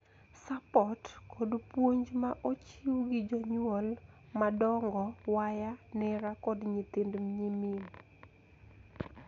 Suport kod puonj ma ochiw gi jonyuol madongo, waya, nera, kod nyithind nyimin